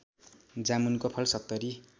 जामुनको फल ७०